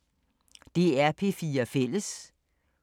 DR P4 Fælles